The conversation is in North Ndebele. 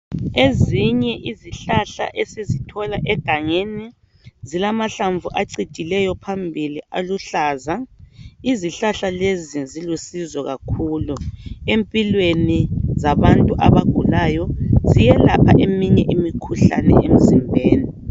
Ezinye izihlahla esizithola egangeni, zilamahlamvu acijileyo phambili aluhlaza. Izihlahla lezi zilusozo kakhulu emphilweni zabantu abagulayo. Ziyelapha iminye imikhuhlane emzimbeni.